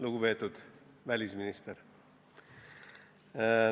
Lugupeetud välisminister!